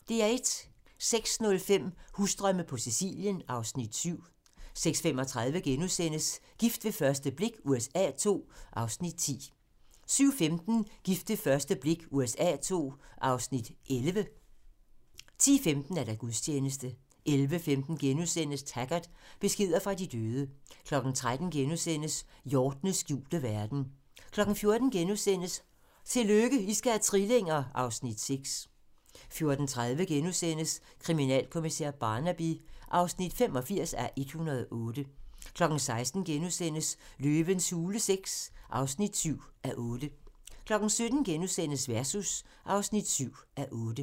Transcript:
06:05: Husdrømme på Sicilien (Afs. 7) 06:35: Gift ved første blik USA II (10:16)* 07:15: Gift ved første blik USA II (11:16)* 10:15: Gudstjeneste 11:15: Taggart: Beskeder fra de døde * 13:00: Hjortenes skjulte verden * 14:00: Tillykke, I skal have trillinger! (Afs. 6)* 14:30: Kriminalkommissær Barnaby (85:108)* 16:00: Løvens hule VI (7:8)* 17:00: Versus (7:8)*